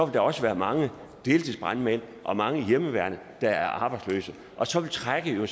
der også være mange deltidsbrandmænd og mange i hjemmeværnet der er arbejdsløse og så vil trækket jo